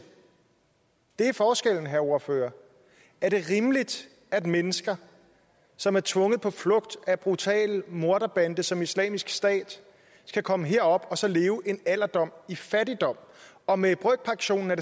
det er forskellen herre ordfører er det rimeligt at mennesker som er tvunget på flugt af en brutal morderbande som islamisk stat skal komme herop og så leve en alderdom i fattigdom og med brøkpensionen er